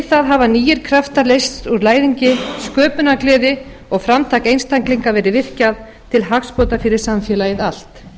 það hafa nýir kraftar leyst úr læðingi sköpunargleði og framtak einstaklinga verið virkjað til hagsbóta fyrir samfélagið allt